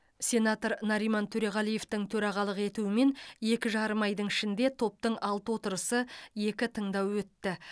сенатор нариман төреғалиевтің төрағалық етуімен екі жарым айдың ішінде топтың алты отырысы екі тыңдауы өтті